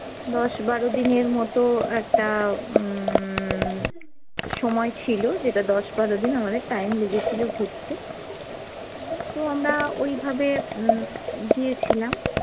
দশ বারো দিনের মতো একটা উম সময় ছিল যেটা দশ বারো দিন আমাদের time লেগেছিল ঘুরতে। তো আমরা ওইভাবে উম গিয়েছিলাম